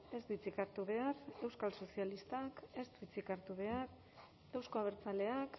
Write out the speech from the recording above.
ez du hitzik hartu behar euskal sozialistak ez du hitzik hartu behar euzko abertzaleak